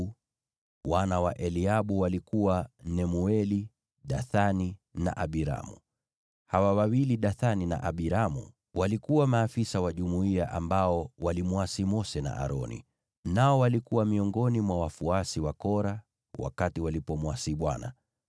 nao wana wa Eliabu walikuwa Nemueli, Dathani na Abiramu. Hawa wawili Dathani na Abiramu ndio walikuwa maafisa wa jumuiya ambao walimwasi Mose na Aroni, na walikuwa miongoni mwa wafuasi wa Kora wakati walimwasi Bwana .